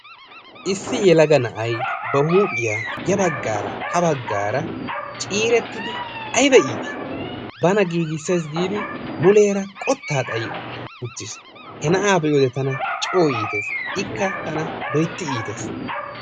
Issi yelaga na'ay ba huuphiya yaa baggaara ha baggaara cirettidi aybba iiti. bana giiggissay giidi muleera qotta xayyi uttiis. he na'aa be'iyoode tana coo iittees. ikka tana loytti iittees.